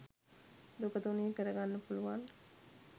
දුක තුනී කරගන්න පුළුවන්